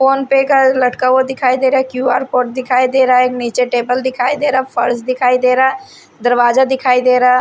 phone पे का लटका हुआ दिखाई दे रहा है क्यू_आर कोड दिखाई दे रहा है नीचे टेबल दिखाई दे रहा फर्श दिखाई दे रहा है दरवाजा दिखाई दे रहा--